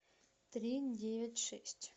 три девять шесть